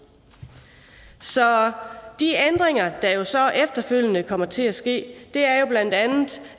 så de ændringer der så efterfølgende kommer til at ske er jo bla